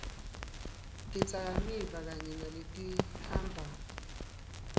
tidzakamiva kanye naletihamba